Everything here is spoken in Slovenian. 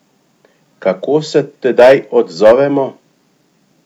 Kako se tedaj odzovemo?